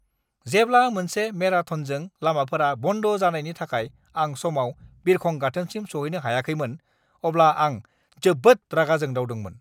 जेब्ला मोनसे मेराथनजों लामाफोरा बन्द जानायनि थाखाय आं समाव बिरखं गाथोनसिम सौहैनो हायाखैमोन, अब्ला आं जोबोद रागा जोंदावदोंमोन!